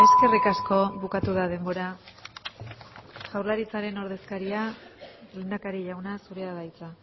eskerrik asko bukatu da denbora jaurlaritzaren ordezkaria lehendakari jauna zurea da hitza